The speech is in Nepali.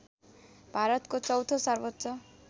भारतको चौथो सर्वोच्च